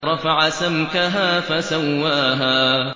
رَفَعَ سَمْكَهَا فَسَوَّاهَا